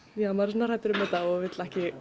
svona hræddur um þetta og vill ekki